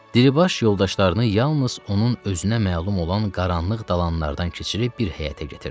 Diribaş yoldaşlarını yalnız onun özünə məlum olan qaranlıq dalanlardan keçirib bir həyətə gətirdi.